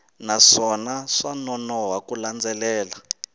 naswona swa nonoha ku landzelela